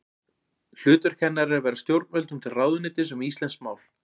Hlutverk hennar er að vera stjórnvöldum til ráðuneytis um íslenskt mál.